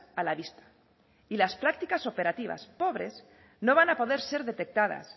a la vista y las prácticas operativas pobres no van a poder ser detectadas